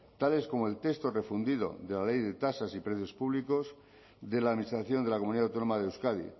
tales como el texto refundido de la ley de tasas y precios públicos de la administración de la comunidad autónoma de euskadi